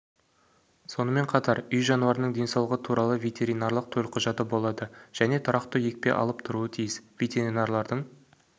сонымен қатар үй жануарының денсаулығы туралы ветеринарлық төлқұжаты болады және тұрақты екпе алып тұруы тиіс ветеринарлардың